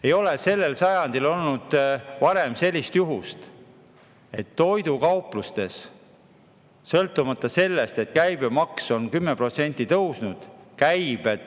Ei ole sellel sajandil olnud varem sellist asja, et toidukauplustes käibed langevad, kuigi käibemaks on 10% tõusnud.